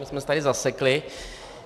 My jsme se tady zasekli.